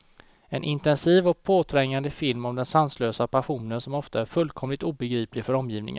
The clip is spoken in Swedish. En intensiv och påträngande film om den sanslösa passionen, som ofta är fullkomligt obegriplig för omgivningen.